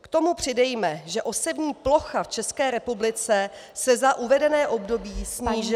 K tomu přidejme, že osevní plocha v České republice se za uvedené období snížila -